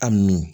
A nun